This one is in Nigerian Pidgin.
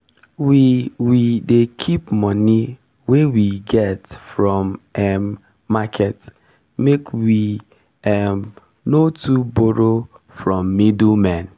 we we dey keep moni wey we get from um market make we um no too borrow from middlemen.